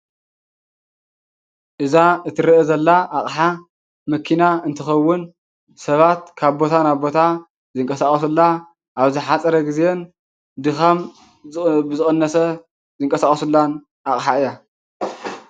እዛ እትረአ ዘላ ኣቅሓ መኪና እንትከዉን ሰባት ካብ ቦታ ናብ ቦታ ዝንቀሳቀሱላ ኣብ ዝሓፀረ ግዜን ድካም ብዝቀነሰ ዝንቀሳቀሱላን ኣቅሓ እያ።